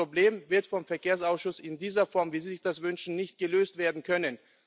Also das Problem wird vom Verkehrsausschuss in dieser Form, wie Sie sich das wünschen, nicht gelöst werden können.